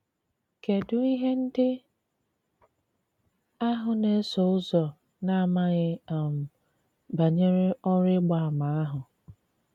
Kedụ ihe ndị ahụ na - eso ụzọ na - amaghị um banyere ọrụ ịgba àmà ahụ?